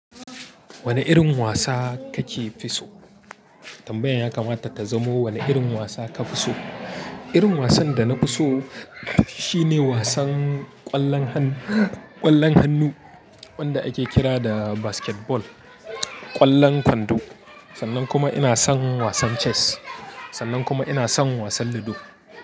Wane irin wasa kake fi so? Tambayar ya kamata ta zamo wane irin wasa ka fi so. Irin wasan da na fi so shine wasan ƙwallon hannu, ƙwallon hannu wanda ake kira da basketball, ƙwallon kwando. Sannan kuma ina son wasan chess. Sannan kuma ina son wasan ludo.